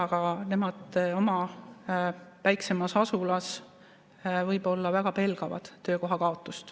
Aga nemad oma väiksemas asulas võib-olla väga pelgavad töökoha kaotust.